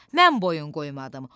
Mən boyun qoymadım.